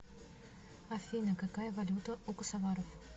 афина какая валюта у косоваров